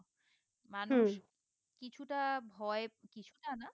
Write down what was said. মানুষ কিছুটা ভয়ে কিছুটা না